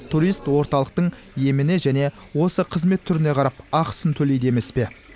турист орталықтың еміне және осы қызмет түріне қарап ақысын төлейді емес пе